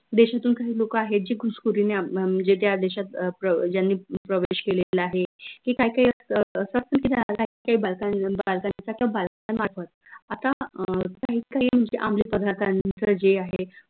देशातून काही लोक आहेत जे घुसखोरीने म्हनजे त्या देशात अह ज्यांनी प्रवेश केलेला आहे हे काही काही आता अं काही काही म्हनजे आमली पदार्थांचं जे आहे